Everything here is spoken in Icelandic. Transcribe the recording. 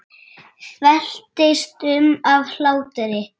Veltist um af hlátri.